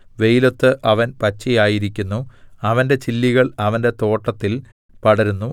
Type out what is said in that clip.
വെയിലത്ത് അവൻ പച്ചയായിരിക്കുന്നു അവന്റെ ചില്ലികൾ അവന്റെ തോട്ടത്തിൽ പടരുന്നു